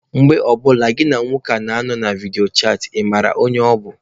Mgbe ọ bụla gịnị na nwoke a nọ na vidio chatị, ị mara onye ọ bụ?